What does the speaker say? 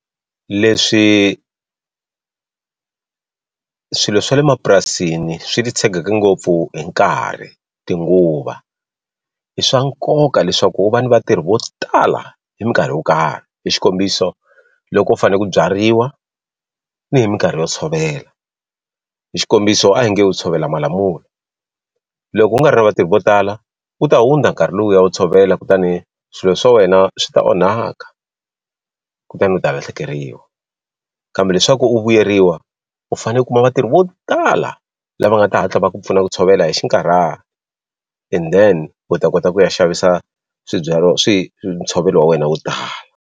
Leswi swilo swa le mapurasini swi titshegeke ngopfu hi nkarhi tinguva i swa nkoka leswaku u va ni vatirhi vo tala hi minkarhi yo karhi hi xikombiso loko u fane ku byariwa ni hi minkarhi yo tshovela hi xikombiso a hi nge u tshovela malamula loko u nga ri na vatirhi vo tala wu ta hundza nkarhi lowuya wu tshovela kutani swilo swa wena swi ta onhaka kutani u ta lahlekeriwa kambe leswaku u vuyeriwa u fane u kuma vatirhi vo tala lava nga ta hatla va ku pfuna ku tshovela hi xinkarhana and then u ta kota ku ya xavisa swibyariwa ntshovelo wa wena wo tala.